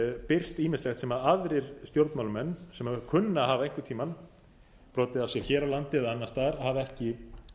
birst ýmislegt sem aðrir stjórnmálamenn sem kunna að hafa einhvern tíma brotið af sér hér á landi eða annars staðar hafa ekki